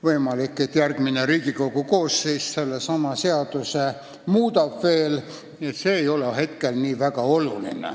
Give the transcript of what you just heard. Võimalik, et järgmine Riigikogu koosseis sedasama seadust veel muudab, nii et see ei ole hetkel nii väga oluline.